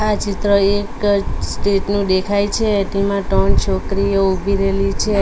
આ ચિત્ર એક સ્ટેજ નો દેખાય છે તેમાં ત્રણ છોકરીઓ ઉભી રહેલી છે.